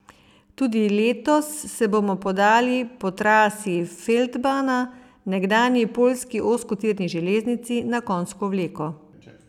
Tudi letos se bomo podali po trasi feldbana, nekdanji poljski ozkotirni železnici na konjsko vleko.